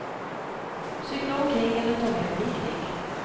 Cykla omkring eller ta med en picknick.